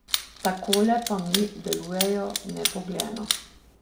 Takole pa mi delujejo nebogljeno.